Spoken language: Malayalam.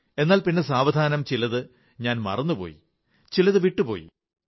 എന്നാൽ പിന്നെ സാവധാനം ചിലതു ഞാൻ മറന്നു പോയി ചിലത് വിട്ടുപോയി